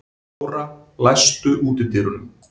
Nóra, læstu útidyrunum.